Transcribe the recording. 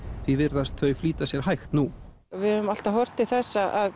því virðast þau flýta sér hægt nú við höfum alltaf horft til þess að